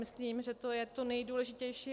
Myslím, že to je to nejdůležitější.